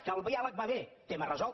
que el diàleg va bé tema resolt